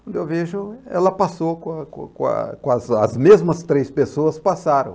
Quando eu vejo, ela passou, com com com a com a as mesmas três pessoas passaram.